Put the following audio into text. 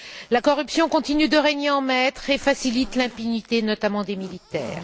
La corruption continue de régner en maître et facilite l'impunité, notamment des militaires.